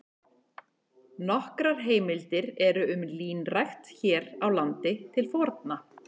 Nokkrar heimildir eru um línrækt hér á landi til forna.